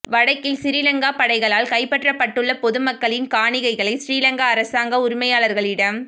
வடக்கில் சிறிலங்கா படைகளால் கைப்பற்றப்பட்டுள்ள பொதுமக்களின் காணிகளை சிறிலங்கா அரசாங்கம் உரிமையாளர்களிடம்